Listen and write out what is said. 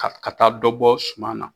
Ka ka taa dɔ bɔ suma na